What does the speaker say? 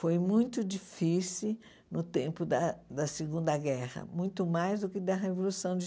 Foi muito difícil no tempo da da Segunda Guerra, muito mais do que da Revolução de